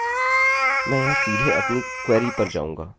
मैं यहाँ सीधे अपनी क्वेरी पर जाऊँगा